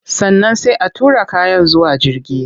Sannan sai a tura kayan zuwa jirgi